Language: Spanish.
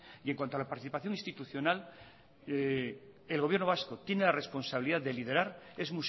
en cuanto a la participación institucional el gobierno vasco tiene la responsabilidad de liderar es